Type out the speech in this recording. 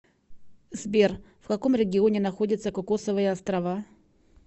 сбер в каком регионе находится кокосовые острова